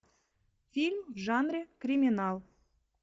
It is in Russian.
фильм в жанре криминал